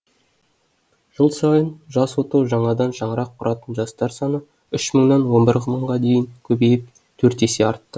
жыл сайын жас отау жаңадан шаңырақ құратын жастар саны үш мыңнан он бір мыңға дейін көбейіп төрт есе артты